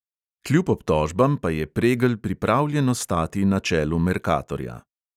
Kljub obtožbam pa je pregl pripravljen ostati na čelu merkatorja.